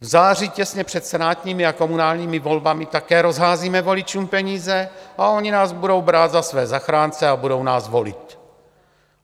V září těsně před senátními a komunálními volbami také rozházíme voličům peníze a oni nás budou brát za své zachránce a budou nás volit.